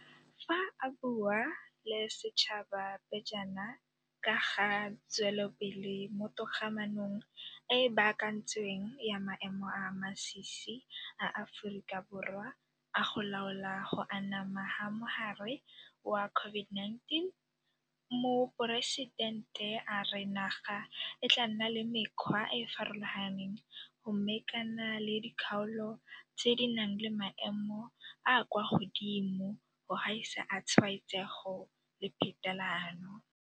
Fa a bua le setšhaba pejana ka ga tswelelopele mo togamaanong e e baakantsweng ya maemo a a masisi a Aforika Borwa a go laola go anama ga mogare wa COVID-19, Moporesitente a re naga e tla nna le mekgwa e e farologaneng go mekana le dikgaolo tse di nang le maemo a a kwa godimo go gaisa a tshwaetsego le phetalano.